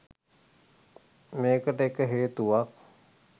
මේකට එක හේතුවක්.